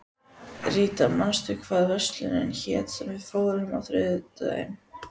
Ríta, manstu hvað verslunin hét sem við fórum í á þriðjudaginn?